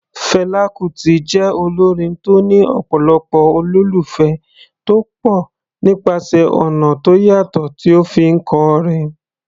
Fela Kuti jẹ́ olórin tó ní ọ̀pọ̀lọpọ̀ olólùfẹ́ tó pọ̀ nípasẹ̀ ọ̀nà tó yàtọ̀ tí ó fi ń kọrin.